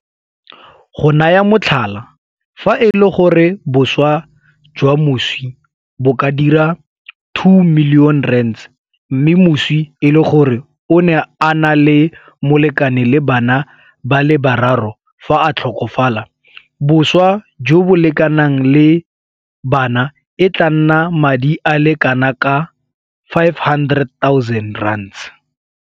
Go naya motlhala, fa e le gore boswa jwa moswi bo ka dira R2 milione mme moswi e le gore o ne a na le molekane le bana ba le bararo fa a tlhokafala, boswa jo bo lekanang le la bana e tla nna madi a le kanaka R500 000.